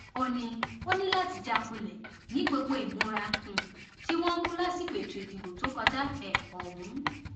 ó ní ó ní láti já kulẹ ní gbogbo ìmúra um tí wọn mú lásìkò ètò ìdìbò tó kọjá um ọhún